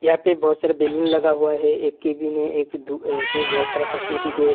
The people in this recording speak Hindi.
यहा बहुत सारा बैलून लगा हुआ है। एक केबिन एक दु एक पे बहुत सारा कॉस्मेटिक है।